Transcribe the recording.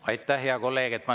Aitäh, hea kolleeg!